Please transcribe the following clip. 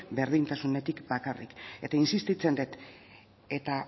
berdintasunetik bakarrik eta insistitzen dut eta